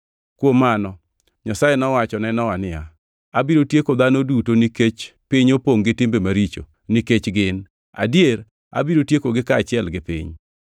Kuom mano, Nyasaye nowacho ne Nowa niya, “Abiro tieko dhano duto nikech piny opongʼ gi timbe maricho nikech gin. Adier abiro tiekogi kaachiel gi piny.